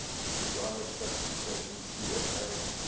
climate classification cfa